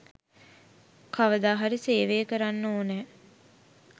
කවදා හරි සේවය කරන්න ඕනෑ